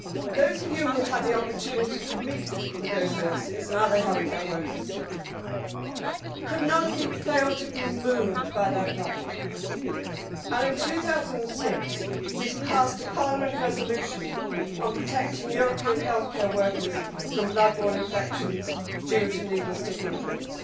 Those of you who had the opportunity to meet with those nurses and other healthcare workers could not have failed to have been moved by their plight, and in 2006 we passed a Parliament resolution on protecting European healthcare workers from blood borne infections due to needle stick injuries.